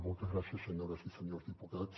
moltes gràcies senyores i senyors diputats